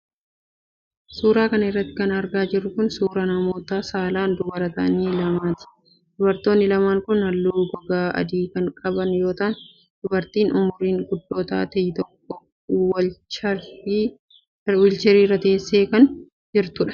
Suura kana irratti kan argaa jirru kun, suura namoota saalan dubara ta'an lamaati. Dubartoonni lamaan kun, haalluu gogaa adii kan qaban yoo ta'an, dubartiin umuriin guddoo taate tokko wiilcharii irra teessee isheen biraa immoo wiilcharii ishee dhiibaa gargaaraa haas'aa jiru.